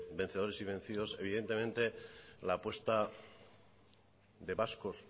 vencedores y vencidos evidentemente la apuesta de vascos